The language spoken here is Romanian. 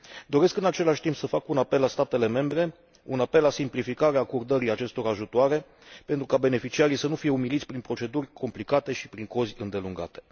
Doresc, în același timp, să fac un apel la statele membre, un apel la simplificarea acordării acestor ajutoare, pentru ca beneficiarii să nu fie umiliți prin proceduri complicate și prin cozi îndelungate.